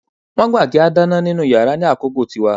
Wọ́n gbà kí á dáná nínú yàrá lákòókò tiwa